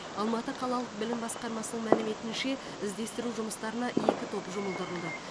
алматы қалалық білім басқармасының мәліметінше іздестіру жұмыстарына екі топ жұмылдырылды